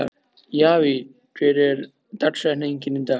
Javí, hver er dagsetningin í dag?